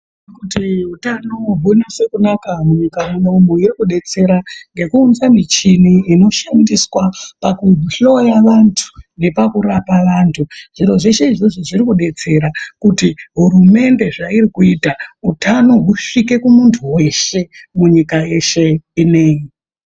Kuti utano hunyasokunaka munyika munomu iri kudetsera ngekuunze michini inoshandiswa pakuhloya vantu nepakurapa vantu. Zviro zveshe izvozvo zviri kudetsera kuti hurumende zvairi kuita utano husvike kumuntu weshe munyika yeshe ineyi.